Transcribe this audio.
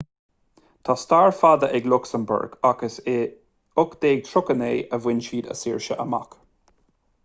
tá stair fada ag lucsamburg ach is i 1839 a bhain siad a saoirse amach